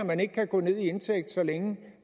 man ikke kan gå ned i indtægt så længe